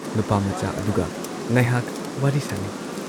ꯅꯨꯄꯥꯃꯆꯥ ꯑꯗꯨꯒ ꯉꯥꯢꯍꯥꯛ ꯋꯥꯔꯤ ꯁꯥꯟꯅꯩ ꯫